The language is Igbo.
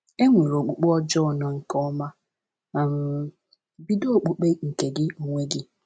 E nwere okpukpe ọjọọ na nke ọma.” um —Bido Okpukpe nke Gị Onwe Gị.